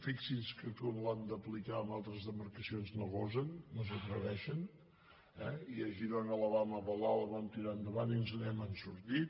fixin·se que quan l’han d’apli·car a altres demarcacions no gosen no s’atreveixen i a girona el vam avalar el vam tirar endavant i ens n’hem sortit